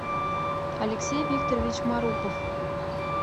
алексей викторович марупов